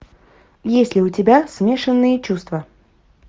есть ли у тебя смешанные чувства